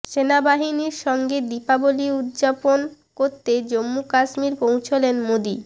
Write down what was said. সেনাবাহিনীর সঙ্গে দীপাবলি উদযাপন করতে জম্মু কাশ্মীর পৌঁছলেন মোদী